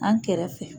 An kɛrɛfɛ